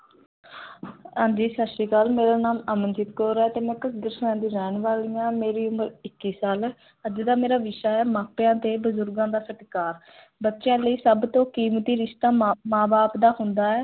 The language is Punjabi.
ਹਾਂ ਜੀ ਸਤਿ ਸ੍ਰੀ ਅਕਾਲ, ਮੇਰਾ ਨਾਮ ਅਮਨਦੀਪ ਕੌਰ ਹੈ ਤੇ ਮੈਂ ਦੀ ਰਹਿਣ ਵਾਲੀ ਹਾਂ, ਮੇਰੀ ਉਮਰ ਇੱਕੀ ਸਾਲ ਹੈ, ਅੱਜ ਦਾ ਮੇਰਾ ਵਿਸ਼ਾ ਹੈ, ਮਾਪਿਆਂ ਤੇ ਬਜ਼ੁਰਗਾਂ ਦਾ ਸਤਿਕਾਰ ਬੱਚਿਆਂ ਲਈ ਸਭ ਤੋਂ ਕੀਮਤੀ ਰਿਸ਼ਤਾ ਮਾਂ, ਮਾਂ ਬਾਪ ਦਾ ਹੁੰਦਾ ਹੈ।